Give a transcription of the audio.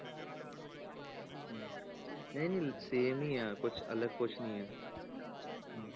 ਇਹ ਨਹੀਂ same ਹੀ ਆ ਕੁਛ ਅਲੱਗ ਕੁਛ ਨੀ ਆ ਹਮ